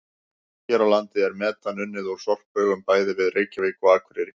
Hér á landi er metan unnið úr sorphaugum bæði við Reykjavík og Akureyri.